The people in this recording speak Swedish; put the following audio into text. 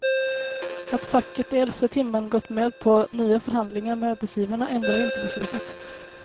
Att facket i elfte timmen gått med på nya förhandlingar med arbetsgivarna ändar inte beslutet.